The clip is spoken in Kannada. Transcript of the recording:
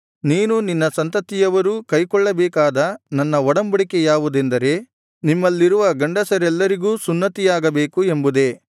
ನೀನೂ ನಿನ್ನ ಸಂತತಿಯುವರೂ ಕೈಕೊಳ್ಳಬೇಕಾದ ನನ್ನ ಒಡಂಬಡಿಕೆ ಯಾವುದೆಂದರೆ ನಿಮ್ಮಲ್ಲಿರುವ ಗಂಡಸರೆಲ್ಲರಿಗೂ ಸುನ್ನತಿಯಾಗಬೇಕು ಎಂಬುದೇ